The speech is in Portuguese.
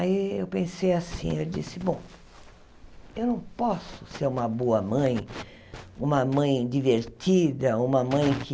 Aí eu pensei assim, eu disse, bom, eu não posso ser uma boa mãe, uma mãe divertida, uma mãe que